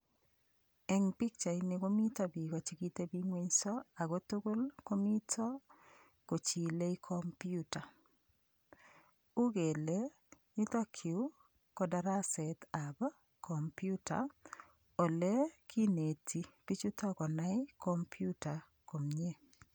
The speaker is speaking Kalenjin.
Eng' pikchaini komito biko chekiteping'wenso ako tugul komito kochilei komputa uu kele yutokyu ko darasetab komputa ale kineti bichuto konai komputa komyee